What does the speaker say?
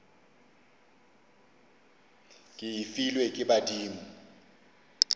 ke e filwe ke badimo